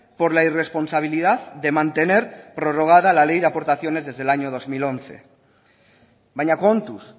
por la irresponsabilidad de mantener prorrogada la ley de aportaciones desde el año dos mil once baina kontuz